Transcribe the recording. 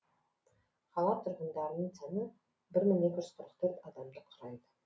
қала тұрғындарының саны бір мың екі жүз қырық төрт адамды құрайды